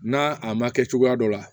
N'a a ma kɛ cogoya dɔ la